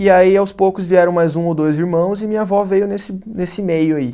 E aí, aos poucos, vieram mais um ou dois irmãos e minha avó veio nesse, nesse meio aí.